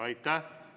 Aitäh!